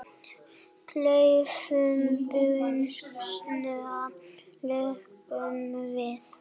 Klaufum buxna lokum við.